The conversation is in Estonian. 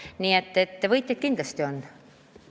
Nii et võitjaid kindlasti on.